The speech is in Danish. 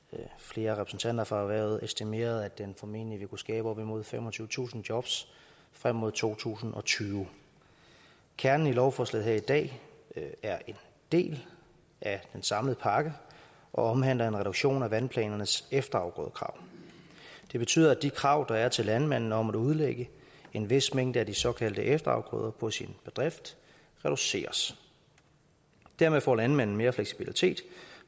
flere repræsentanter fra erhvervet estimerede at den formentlig vil kunne skabe op imod femogtyvetusind jobs frem mod to tusind og tyve kernen i lovforslaget her i dag er en del af den samlede pakke og omhandler en reduktion af vandplanernes efterafgrødekrav det betyder at de krav der er til landmanden om at udlægge en vis mængde af de såkaldte efterafgrøder på sin bedrift reduceres dermed får landmanden mere fleksibilitet